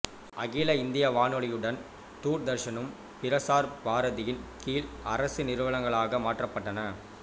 அகில இந்திய வானொலியுடன் தூர்தர்ஷனும் பிரசார் பாரதியின் கீழ் அரசு நிறுவனங்களாக மாற்றப்பட்டன